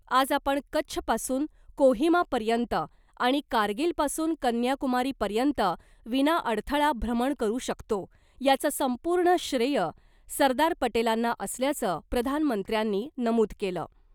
आज आपण कच्छपासून कोहिमापर्यंत आणि कारगीलपासून कन्याकुमारी पर्यंत विनाअडथळा भ्रमण करू शकतो , याचं संपूर्ण श्रेय सरदार पटेलांना असल्याचं , प्रधानमंत्र्यांनी नमूद केलं .